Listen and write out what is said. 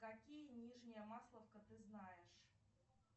какие нижняя масловка ты знаешь